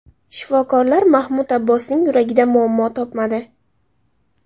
Shifokorlar Mahmud Abbosning yuragida muammo topmadi.